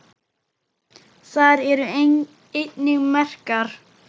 Þar eru einnig merkar